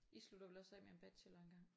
I slutter vel også af med en bachelor en gang?